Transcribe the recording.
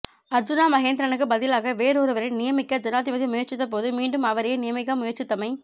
அர்ஜூனா மகேந்திரனுக்குப் பதிலாக வேறொருவரை நியமிக்க ஜனாதிபதி முயற்சித்தபோது மீண்டும் அவரையே நியமிக்க முயற்சித்தமை